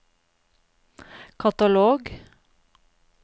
katalog